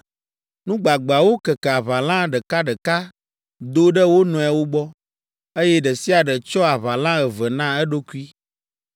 Nu gbagbeawo keke aʋala ɖekaɖeka do ɖe wo nɔewo gbɔ, eye ɖe sia ɖe tsyɔ aʋala eve na eɖokui.